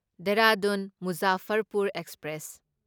Dehradun Muzaffarpur express